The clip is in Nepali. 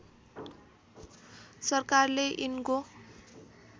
सरकारले यिनको